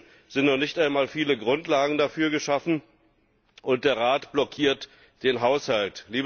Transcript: Stattdessen sind noch nicht einmal viele Grundlagen dafür geschaffen, und der Rat blockiert den Haushalt.